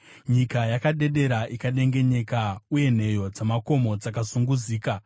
Nyika yakadedera ikadengenyeka, uye nheyo dzamakomo dzakazunguzika;